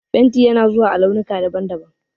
Fenti yana zuwa a launuka daban-daban.